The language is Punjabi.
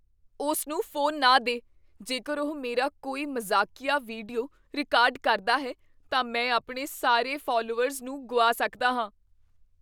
ਉਸ ਨੂੰ ਫ਼ੋਨ ਨਾ ਦੇ। ਜੇਕਰ ਉਹ ਮੇਰਾ ਕੋਈ ਮਜ਼ਾਕੀਆ ਵੀਡੀਓ ਰਿਕਾਰਡ ਕਰਦਾ ਹੈ, ਤਾਂ ਮੈਂ ਆਪਣੇ ਸਾਰੇ ਫਾਲਵੋਅਰਜ਼ ਨੂੰ ਗੁਆ ਸਕਦਾ ਹਾਂ।